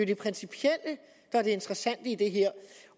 det principielle der er det interessante i det her